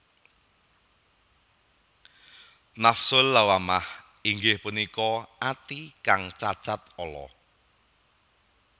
Nafsul Lawwamah inggih punika ati kang cacat ala